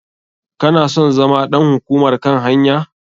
Kana son zama ɗan hukumar kan hanya?